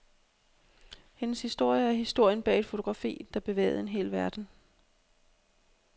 Hendes historie er historien bag et fotografi, der bevægede en hel verden.